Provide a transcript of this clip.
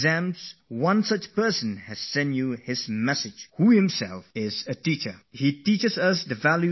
A message has come for you from someone, who is essentially a teacherturnedavalue educator